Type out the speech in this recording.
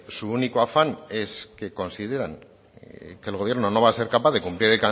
su único afán es que consideran que el gobierno no va a ser capaz de cumplir